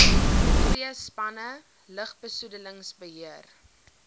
twee spanne lugbesoedelingsbeheer